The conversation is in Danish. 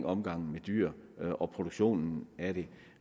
omgangen med dyr og produktionen af dem